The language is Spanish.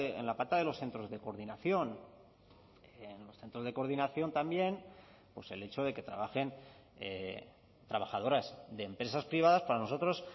en la pata de los centros de coordinación en los centros de coordinación también pues el hecho de que trabajen trabajadoras de empresas privadas para nosotros